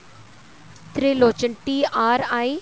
Tirlochan tri